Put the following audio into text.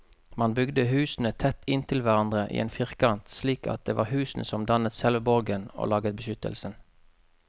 Man bygde husene tett inntil hverandre i en firkant, slik at det var husene som dannet selve borgen og laget beskyttelsen.